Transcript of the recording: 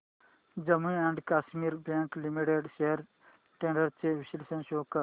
Jammu and Kashmir Bank Limited shares trends चे विश्लेषण show कर